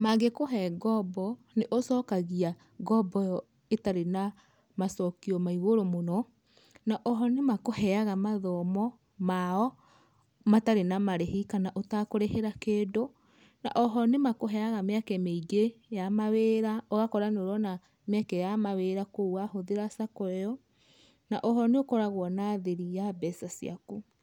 Mangĩkuhe ngombo nĩũcokagia ngombo ĩo ĩtarĩ na macokio maigũrũ mũno, na oho nĩmakuheaga mathomo mao matarĩ na marĩhi kana ũtakũrĩhĩra kĩndu, na oho nĩmakũheaga mĩeke mĩingĩ ya mawĩra ũgakora nĩurona mĩeke ya mawĩra kũo wahũthĩra [sc] sacco [sc] ĩo na oho nĩukoragũo na thiri ya mbeca ciaku.